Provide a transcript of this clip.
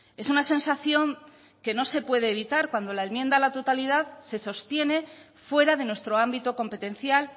es una sensación que no se puede evitar cuando la enmienda a la totalidad se sostiene fuera de nuestro ámbito competencial